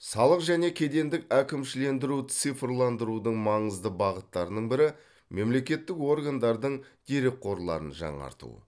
салық және кедендік әкімшілендіру цифрландырудың маңызды бағыттарының бірі мемлекеттік органдардың дерекқорларын жаңарту